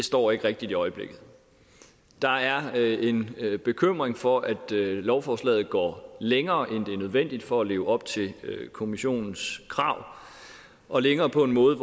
står rigtigt i øjeblikket der er en bekymring for at lovforslaget går længere end nødvendigt for at leve op til kommissionens krav og længere på en måde